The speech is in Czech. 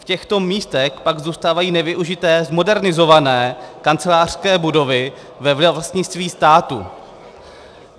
V těchto místech pak zůstávají nevyužité zmodernizované kancelářské budovy ve vlastnictví státu.